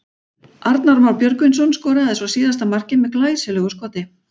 Arnar Már Björgvinsson skoraði svo síðasta markið með glæsilegu skoti.